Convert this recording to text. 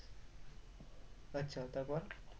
আচ্ছা তারপর?